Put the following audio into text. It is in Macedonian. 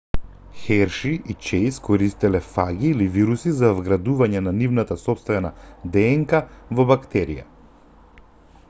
херши и чејс користеле фаги или вируси за вградување на нивната сопствена днк во бактерија